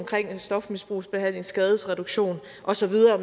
stofmisbrugsbehandling skadesreduktion og så videre